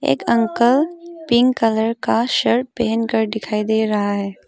एक uncle pink colour का shirt पहन कर दिखाई दे रहा है।